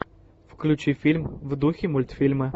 включи фильм в духе мультфильма